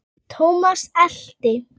Thomas elti.